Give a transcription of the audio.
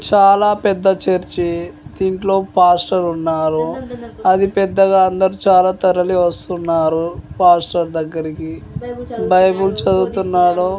ఇది చాలా పెద్ద చర్చి. దీంట్లో ఫాస్టర్ ఉన్నారు. అది పెద్దగా అందరూ చాలా తరలి వస్తున్నారు. పాస్టర్ దగ్గరికి బైబిల్ చదువుతున్నాడు.